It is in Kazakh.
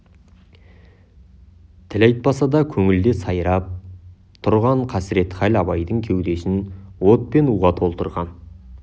тіл айтпаса да көңілде сайрап тұрған қасіретхал абайдың кеудесін от пен уға толтырған